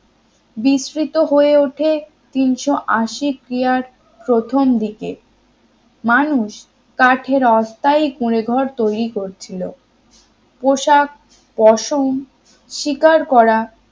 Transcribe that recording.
বিস্তৃত হয়ে ওঠে তিনশো আশি কিয়ার প্রথম দিকে মানুষ কাঠের অস্থায়ী কুঁড়েঘর তৈরি করছিলো পোশাক পশম শিকার করা